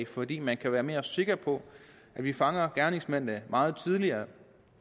fordi man kan være mere sikker på at vi fanger gerningsmændene meget tidligere